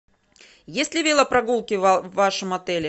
есть ли велопрогулки в вашем отеле